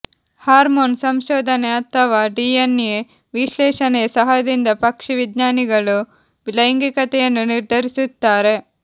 hormone ಸಂಶೋಧನೆ ಅಥವಾ DNA ವಿಶ್ಲೇಷಣೆಯ ಸಹಾಯದಿಂದ ಪಕ್ಷಿವಿಜ್ಞಾನಿಗಳು ಲೈಂಗಿಕತೆಯನ್ನು ನಿರ್ಧರಿಸುತ್ತಾರೆ